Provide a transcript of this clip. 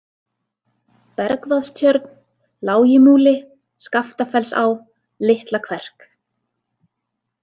Bergvaðstjörn, Lágimúli, Skaftafellsá, Litla-Kverk